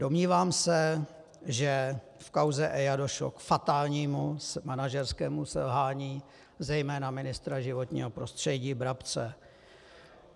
Domnívám se, že v kauze EIA došlo k fatálnímu manažerskému selhání zejména ministra životního prostředí Brabce.